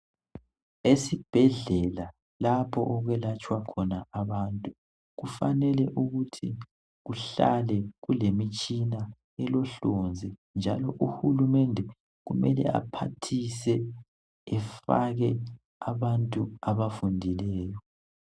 Esibhedlela lapho okwelatshwa khona abantu kufanele ukuthi kuhlale kulemitshina elohlonzi njalo uhulumende kumele aphathise efake abantu abafundileyo.